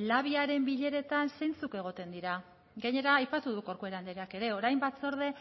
labiaren bileretan zeintzuk egoten dira gainera aipatu du corcuera andreak ere orain batzorde